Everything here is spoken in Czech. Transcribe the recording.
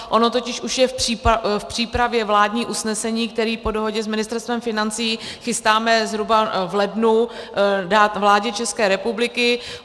Ono totiž už je v přípravě vládní usnesení, které po dohodě s Ministerstvem financí chystáme zhruba v lednu dát vládě České republiky.